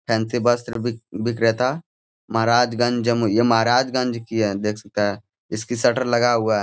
Fancy वस्त्र बिक बिक्रेता महाराजगंज जमूई ये महराजगंज की है देख सकता है इसकी शटर लगा हुआ हैं।